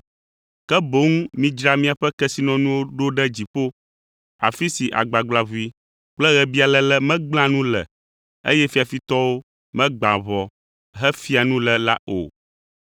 ke boŋ midzra miaƒe kesinɔnuwo ɖo ɖe dziƒo, afi si agbagblaʋui kple ɣebialéle megblẽa nu le, eye fiafitɔwo megbãa ʋɔ hefia nu le la o.